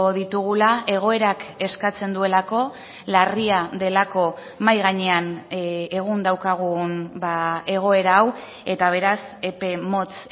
ditugula egoerak eskatzen duelako larria delako mahai gainean egun daukagun egoera hau eta beraz epe motz